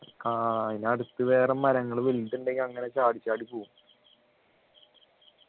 ആഹ് അതിനടുത്തു വേറെ മരങ്ങൾ വലുത് ഉണ്ടെങ്കിൽ അങ്ങനെ ചാടിച്ചാടി പോകും